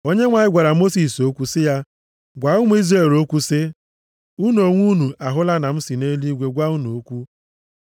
Onyenwe anyị gwara Mosis okwu sị ya, “Gwa ụmụ Izrel okwu sị, ‘Unu onwe unu ahụla na m si nʼeluigwe gwa unu okwu.